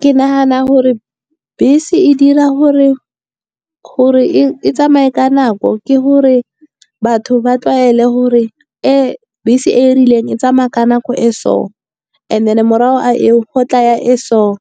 Ke nagana gore bese e dira gore e tsamaye ka nako, ke gore batho ba tlwaele gore bese e e rileng e tsamaya ka nako e so. And then morago ga eo go tla e so e